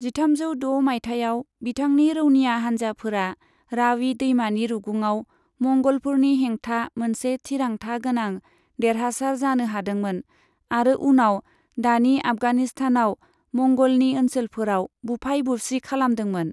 जिथामजौ द' माइथायाव, बिथांनि रौनिया हानजाफोरा रावी दैमानि रुगुङाव मंगलफोरनि हैंथा मोनसे थिरांथा गोनां देरहासार जानो हादोंमोन आरो उनाव दानि आफगानिस्तानाव मंगलनि ओनसोलफोराव बुफाय बुसि खालामदोंमोन।